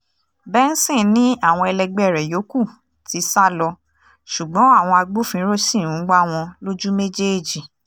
um benson ni àwọn ẹlẹgbẹ́ rẹ̀ yòókù ti sá lọ ṣùgbọ́n àwọn agbófinró ṣì ń wá wọn lójú um méjèèjì